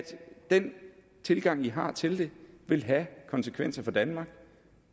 den tilgang i har til det vil have konsekvenser for danmark det